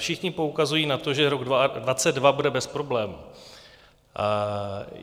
Všichni poukazují na to, že rok 2022 bude bez problémů.